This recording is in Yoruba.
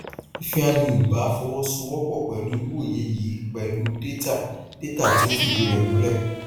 ifeanyi ubah fọwọsowọpọ pẹlú wíwòye yìí pẹlú data data tí ó fìdí rẹ múlẹ